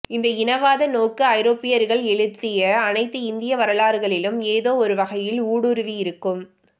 இந்த இனவாத நோக்கு ஐரோப்பியர்கள் எழுதிய அனைத்து இந்திய வரலாறுகளிலும் ஏதோ ஒருவகையில் ஊடுருவியிருக்கும்